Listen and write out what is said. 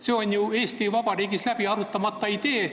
See on Eesti Vabariigis läbi arutamata idee.